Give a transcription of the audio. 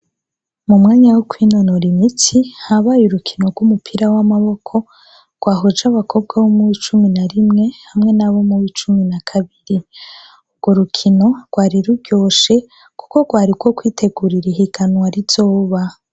Mu mwanya wo kwinonora imitsi habaye urukino rw'umupira w'amaboko rwahoje abakobwa bo mube icumi na rimwe hamwe nabo mu be icumi na kabiri urwo rukino rwariruryoshe, kuko rwari rwo kwitegurira ihiganwa rizoba.